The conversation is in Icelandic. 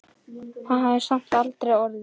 Það hafði samt aldrei orðið.